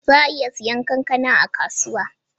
Za a iya siyan kankana a kasuwa?